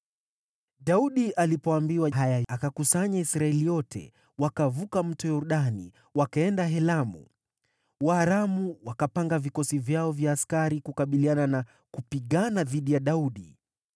Daudi alipoambiwa haya, akawakusanya Israeli wote, wakavuka Mto Yordani, wakaenda Helamu. Waaramu wakapanga vikosi vyao vya askari kukabiliana na kupigana dhidi ya Daudi.